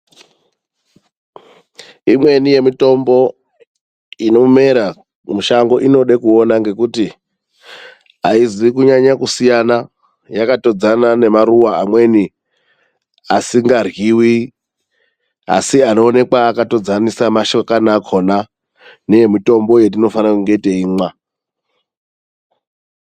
Imweni yemitombo inomera mushango inoda kuona ngekuti aizi kunyanya kusiyana, yakatodzana nemaruwa amweni asingaryiwi asi anoonekwa akatodzanisa mashakani akhona neemitombo yatinofana kunge teimwa.